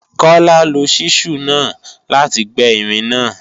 Kọ́lá lo ṣísù náà láti gbẹ́ irin náà